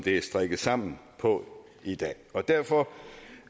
er strikket sammen på i dag derfor